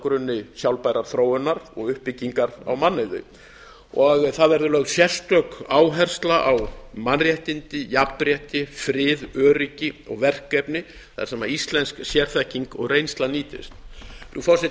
grunni sjálfbærrar þróunar og uppbyggingar á mannauði það verði lögð sérstök áhersla á mannréttindi jafnrétti frið öryggi og verkefni þar sem íslensk sérþekking og reynsla nýtist frú forseti